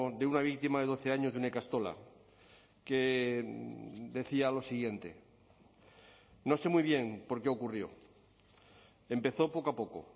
de una víctima de doce años de una ikastola que decía lo siguiente no sé muy bien por qué ocurrió empezó poco a poco